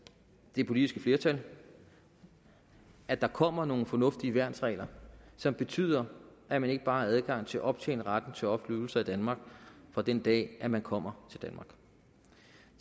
det politiske flertal at der kommer nogle fornuftige værnsregler som betyder at man ikke bare har adgang til at optjene retten til offentlige ydelser i danmark fra den dag man kommer